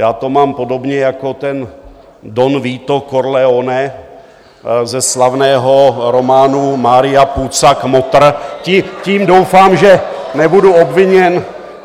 Já to mám podobně jako ten Don Vito Corleone ze slavného románu Maria Puza Kmotr, tím doufám, že nebudu obviněn...